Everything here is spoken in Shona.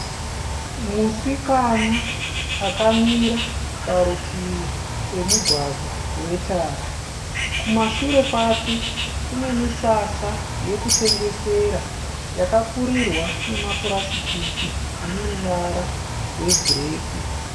Musikana akamira parutivi pemugwagwa wetara. Kumashure kwake kune misasa yekutengesera yakapfurirwa nemapurasitiki rwebhureki.